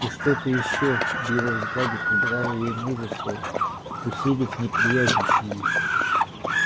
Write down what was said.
и что-то ещё в его взгляде придало ей мужества усилив неприязнь к нему